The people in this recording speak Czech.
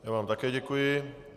Já vám také děkuji.